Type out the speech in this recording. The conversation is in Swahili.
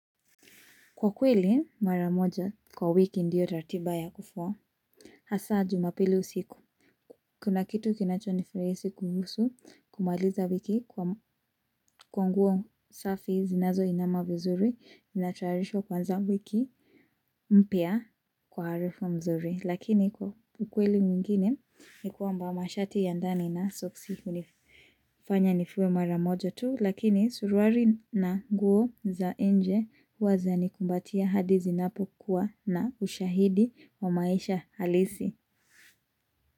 Kwa kweli, maramoja kwa wiki ndiyo ratiba ya kufuwa. Hasa jumapili usiku. Kuna kitu kinacho nifuraisi kuhusu kumaliza wiki kwa nguo safi zinazo inama vizuri. Ninatayarisha kuanza wiki mpya kwa harufu mzuri. Lakini kwa ukweli mwengine ni kwamba mashati ya ndani na soksi hu nifuwe maramoja tu. Lakini suruari na guo za nje huwa zanikumbatia hadi zinapokuwa na ushahidi wa maisha halisi.